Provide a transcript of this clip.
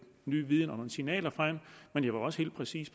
ny viden og nogle signaler frem men jeg var også helt præcis